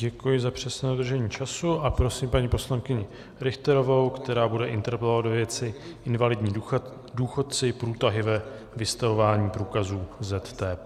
Děkuji za přesné dodržení času a prosím paní poslankyni Richterovou, která bude interpelovat ve věci Invalidní důchodci - průtahy ve vystavování průkazů ZTP.